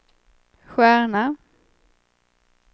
stjärna